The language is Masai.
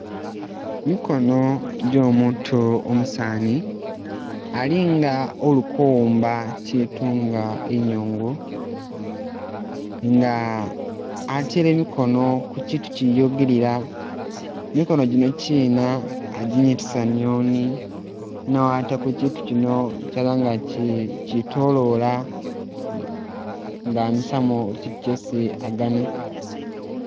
Mikono gyo'omutu umusaani ali nga uli kuwumba kitu nga inyuungu, nga atele mikono ku kitu kiyugilila, mikono gino kina aginyitisa niyono ne watako kitu kino kyabanga ki kitolola nga amisamu kitu kyesi agana.